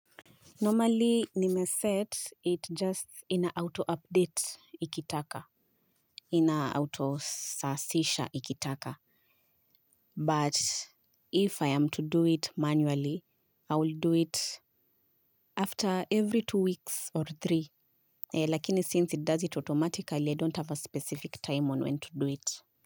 Normally, nimeset it just ina auto-update ikitaka, ina auto-sasisha ikitaka, but if I am to do it manually, I will do it after every two weeks or three, lakini since it does it automatically, I don't have a specific time on when to do it.